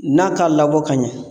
N'a t'a labɔ ka ɲɛ